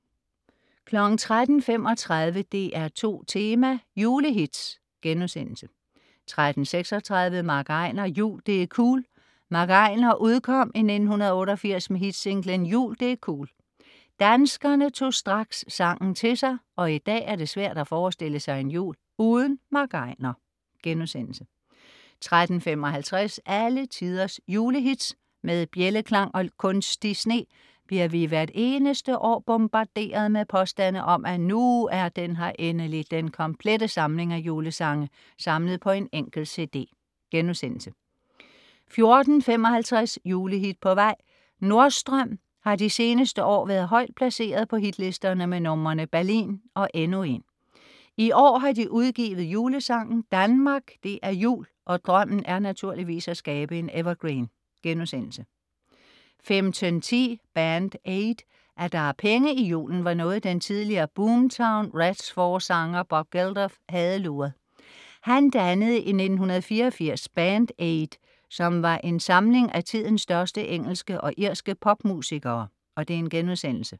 13.35 DR2 Tema: Julehits* 13.36 MC Einar "Jul - Det' cool". MC Einar udkom i 1988 med hitsinglen "Jul - Det' cool". Danskerne tog straks sangen til sig, og i dag er det svært at forestille sig en jul uden MC Einar* 13.55 Alle tiders julehits. Med bjældeklang og kunstig sne bliver vi hvert eneste år bombarderet med påstande om, at "nu er den her endelig: den komplette samling af julesange samlet på en enkelt cd"* 14.55 Julehit på vej? Nordstrøm har de seneste år været højt placeret på hitlisterne med numrene "Berlin" og "Endnu en". I år har de udgivet julesangen "Danmark - Det er Jul" og drømmen er naturligvis at skabe en evergreen* 15.10 Band Aid. At der er penge i julen, var noget den tidligere Boomtown Rats-forsanger Bob Geldof havde luret. Han dannede i 1984 Band Aid, som var en samling af tidens største engelske og irske popmusikere*